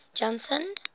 janson